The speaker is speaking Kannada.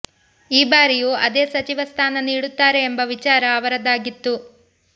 ಈ ಬಾರಿಯೂ ಅದೇ ಸಚಿವ ಸ್ಥಾನ ನೀಡುತ್ತಾರೆ ಎಂಬ ವಿಚಾರ ಅವರದ್ದಾಗಿತ್ತು